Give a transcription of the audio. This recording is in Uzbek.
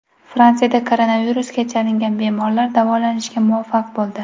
Fransiyada koronavirusga chalingan bemorlar davolanishga muvaffaq bo‘ldi.